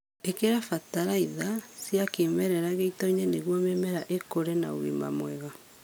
Ĩkĩra bataritha cia kĩmerera gĩitoini niguo mĩmera ĩkũre na ũgima mwega